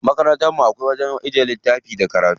Makarantar mu akwai wajen ajiye littafai da karatu.